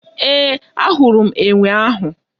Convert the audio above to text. Ee, ahụrụ m enwe ụnyaahụ.